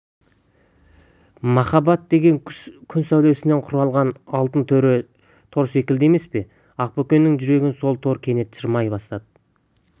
махаббат деген күн сәулесінен құрылған алтын тор секілді емес пе ақбөкеннің жүрегін сол тор кенет шырмай бастады